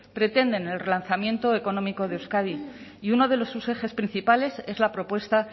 pretenden el relanzamiento económico de euskadi y uno de sus ejes principales es la propuesta